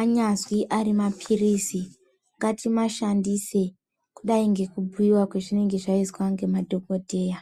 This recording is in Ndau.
anyazwi ari mapirisi ngatimashandise kudai ngekubhuyiwa kwezvinenge zvaiswa ngemadhogodheya.